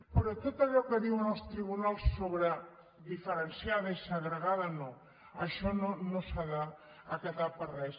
però tot allò que diuen els tribunals sobre diferenciada i segregada no això no s’ha d’acatar per res